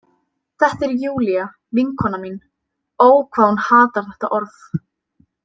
Þetta er Júlía, vinkona mín, ó, hvað hún hatar þetta orð.